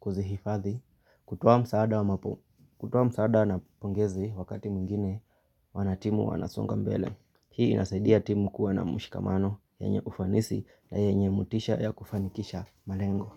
kuzihifadhi kutoa msaada na pongezi wakati mwingine, wanatimu wanasonga mbele. Hii inasaidia timu kuwa na mshikamano yenye ufanisi na yenye motisha ya kufanikisha malengo.